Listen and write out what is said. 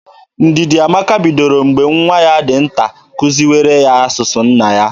Ndidiamaka bidoro mgbe nwa ya dị nta kuziwara ya asụsụ nna ya.